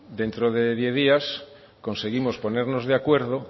dentro de diez días conseguimos ponernos de acuerdo